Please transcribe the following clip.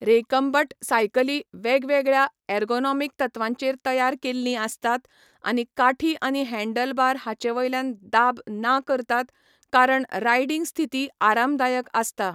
Recumbent सायकलीं वेगवेगळ्या ergonomic तत्वांचेर तयार केल्लीं आसतात आनी काठी आनी हँडलबार हांचेवयल्यान दाब ना करतात, कारण रायडिंग स्थिती आरामदायक आसता.